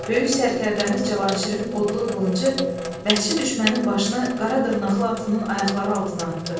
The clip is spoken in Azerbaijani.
Böyük sərkərdəmiz Cavanşirin odlu qılıncı vəhşi düşmənin başını qara dırnaqlı atının ayaqları altına atdı.